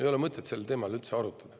Ei ole mõtet sel teemal üldse arutada.